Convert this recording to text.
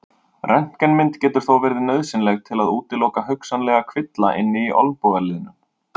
Röntgenmynd getur þó verið nauðsynleg til að útiloka hugsanlegan kvilla inni í olnbogaliðnum.